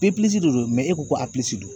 de don e ko ko don.